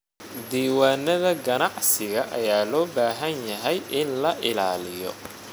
Diiwaanada ganacsiga ayaa loo baahan yahay in la ilaaliyo.